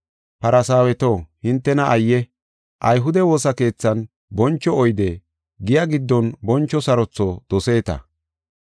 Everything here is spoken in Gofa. “Farsaaweto hintena ayye! Ayhude woosa keethan boncho oyde, giya giddon boncho sarotho doseeta.